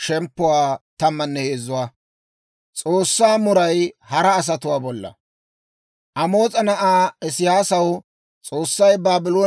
Amoos'a na'aa Isiyaasaw S'oossay Baabloonewaa k'onc'c'issina be'eeddawe hawaa.